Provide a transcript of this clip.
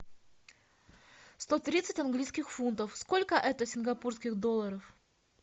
сто тридцать английских фунтов сколько это сингапурских долларов